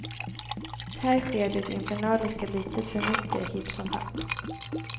Här sker det infernaliska litet för mycket hipp som happ.